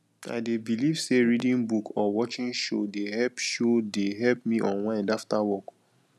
i dey believe say reading book or watching show dey help show dey help me unwind after work